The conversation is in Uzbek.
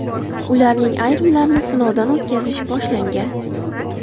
Ularning ayrimlarini sinovdan o‘tkazish boshlangan.